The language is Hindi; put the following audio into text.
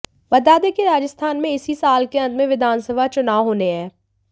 बता दें कि राजस्थान में इसी साल के अंत में विधानसभा चुनाव होने है